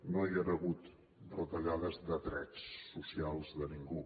no hi han hagut retallades de drets socials de ningú